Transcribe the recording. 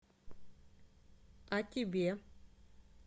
а тебе